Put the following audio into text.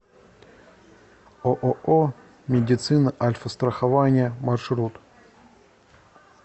ооо медицина альфастрахования маршрут